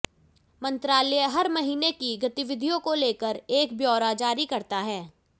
मंत्रालय हर महीने की गतिविधियों को लेकर एक ब्योरा जारी करता है